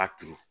A turu